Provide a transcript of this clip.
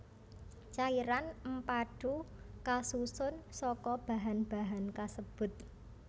Cairan empadhu kasusun saka bahan bahan kasebut